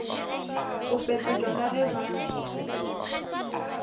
go fetetšwa ka ge ba